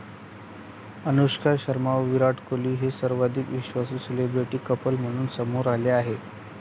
अनुष्का शर्मा व विराट कोहली हे सर्वाधिक विश्वासू सेलिब्रिटी कपल म्हणून समोर आले आहे.